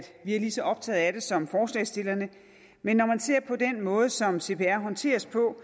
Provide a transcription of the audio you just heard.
vi er lige så optaget af det som forslagsstillerne men når man ser på den måde som cpr håndteres på